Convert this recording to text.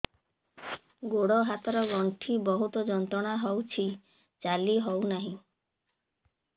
ଗୋଡ଼ ହାତ ର ଗଣ୍ଠି ବହୁତ ଯନ୍ତ୍ରଣା ହଉଛି ଚାଲି ହଉନାହିଁ